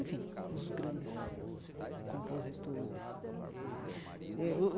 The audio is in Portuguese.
Enfim, os grandes compositores eh o.